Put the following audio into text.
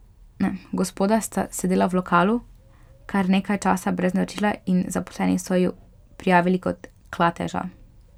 Gospoda sta sedela v lokalu kar nekaj časa brez naročila in zaposleni so ju prijavili kot klateža.